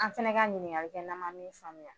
An fana ka ɲininkali kɛ n'an ma min faamuya.